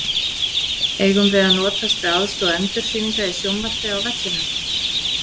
Eigum við að notast við aðstoð endursýninga í sjónvarpi á vellinum?